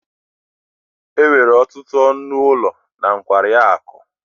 enwere ọtụtụ ọnụ ụlọ na nkwari akụ